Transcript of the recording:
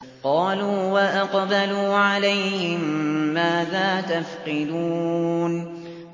قَالُوا وَأَقْبَلُوا عَلَيْهِم مَّاذَا تَفْقِدُونَ